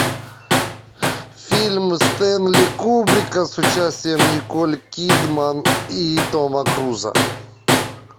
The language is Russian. фильм стэнли кубрика с участием николь кидман и тома круза